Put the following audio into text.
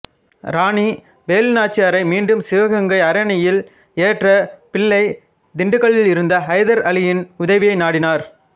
ராணி வேலு நாச்சியாரை மீண்டும் சிவகங்கை அரியணையில் ஏற்ற பிள்ளை திண்டுக்கலிருந்த ஹைதர் அலியின் உதவியை நாடினார்